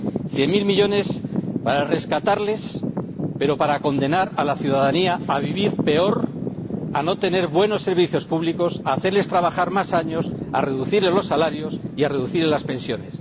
Cien mil millones para rescatarlos, pero para condenar a la ciudadanía a vivir peor, a no tener buenos servicios públicos, a hacerles trabajar más años, a reducirles los salarios y a reducirles las pensiones.